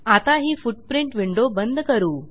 आता ही footprint window बंद करू